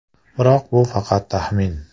Biroq bu faqat taxmin.